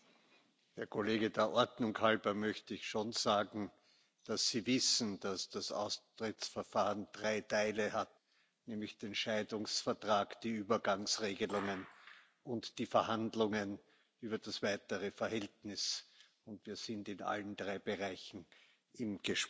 Herr Kollege, der Ordnung halber möchte ich schon sagen, dass Sie wissen, dass das Austrittsverfahren drei Teile hat, nämlich den Scheidungsvertrag, die Übergangsregelungen und die Verhandlungen über das weitere Verhältnis, und wir sind in allen drei Bereichen im Gespräch.